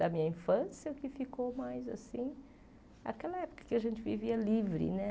Da minha infância, o que ficou mais assim... Aquela época que a gente vivia livre, né?